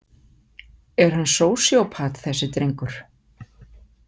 Er hann sósíópat, þessi drengur?